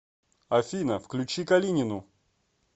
афина включи калинину